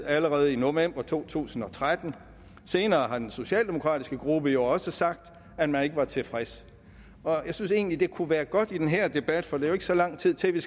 allerede i november to tusind og tretten og senere har den socialdemokratiske gruppe jo også sagt at man ikke var tilfreds jeg synes egentlig det kunne være godt at sige i den her debat for der er jo ikke så lang tid til at vi